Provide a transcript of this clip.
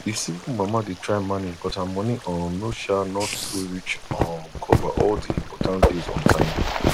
the single mama dey try manage but her money um no um no too reach um cover all the important bills on time